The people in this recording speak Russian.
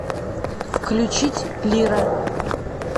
включить лира